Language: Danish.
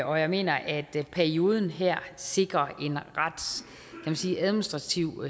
og jeg mener at perioden her sikrer en administrativt